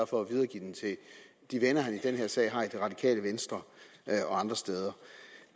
for at videregive den til de venner han i den her sag har i det radikale venstre og andre steder